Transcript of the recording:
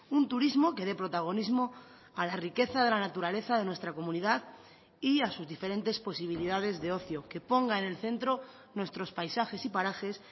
un turismo que dé protagonismo a la riqueza de la naturaleza de nuestra comunidad y a sus diferentes posibilidades de ocio que ponga en el centro nuestros paisajes y parajes